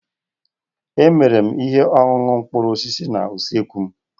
Emere m ihe ọṅụṅụ mkpụrụ osisi na usekwu m